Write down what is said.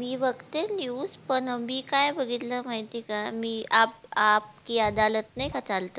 मी बघते news पण काय बघितलं माहिती हे का मी आप आप कि अदालत नाही का चालत